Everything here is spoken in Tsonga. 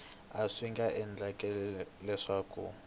a swi nga endleka leswaku